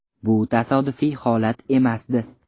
Bu tasodifiy holat emasdi.